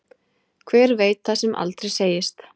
Hver veit það sem aldrei segist.